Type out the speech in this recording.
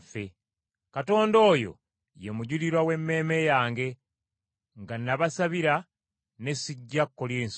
Katonda oyo ye mujulirwa w’emmeeme yange, nga nabasabira ne sijja Kkolinso.